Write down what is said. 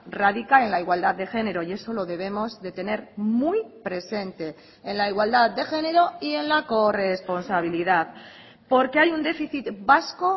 radica en la igualdad de género y eso lo debemos de tener muy presente en la igualdad de género y en la corresponsabilidad porque hay un déficit vasco